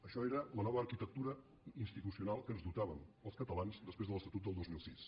això era la nova arquitectura institucional de què ens dotàvem els catalans després de l’estatut del dos mil sis